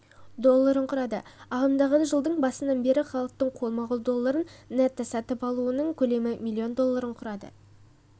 долларын құрады ағымдағы жылдың басынан бері халықтың қолма-қол долларын нетто-сатып алуының көлемі млн долларын құрады